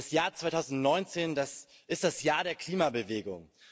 Das Jahr 2019, das ist das Jahr der Klimabewegung.